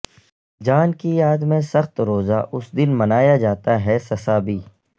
جان کی یاد میں سخت روزہ اس دن منایا جاتا ہے سسابی